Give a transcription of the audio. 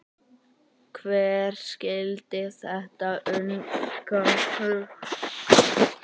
Hver skildi þetta unga fólk?